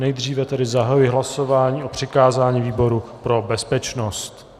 Nejdříve tedy zahajuji hlasování o přikázání výboru pro bezpečnost.